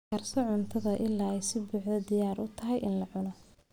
Karso cuntada ilaa ay si buuxda diyaar ugu tahay in la cuno.